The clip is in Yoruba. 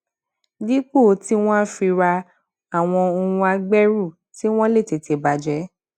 dípò tí wón á fi ra àwọn ohun agbẹrù tí wón lè tètè bà jé